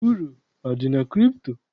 Uru adị na kripto?